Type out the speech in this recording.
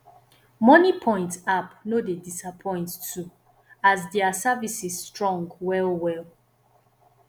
moniepoint app no dey disappoint too as dia services strong well well